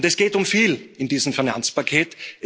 Es geht um viel in diesem Finanzpaket.